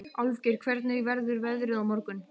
Álfgeir, hvernig verður veðrið á morgun?